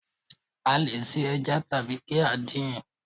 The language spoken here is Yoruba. A le è se ẹja tàbí kí á din